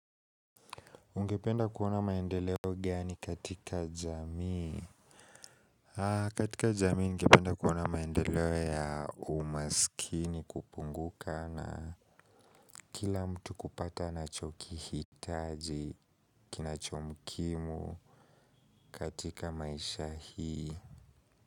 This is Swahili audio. Ungependa kuona maendeleo gani katika jamii katika jamii ningependa kuona maendeleo ya umasikini kupunguka na kila mtu kupata anachokihitaji kinachomkimu katika maisha hii.